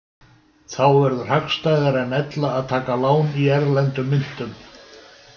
Þá verður hagstæðara en ella að taka lán í erlendum myntum.